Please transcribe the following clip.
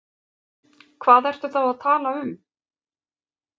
Hvað ertu þá að tala um?